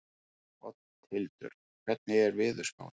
Oddhildur, hvernig er veðurspáin?